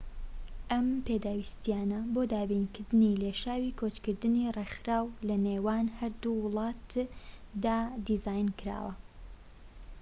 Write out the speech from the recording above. ئەم پێداویستیانە بۆ دابینکردنی لێشاوی کۆچکردنی ڕێکخراو لە نێوان هەردوو وڵاتدادا دیزاینکراوە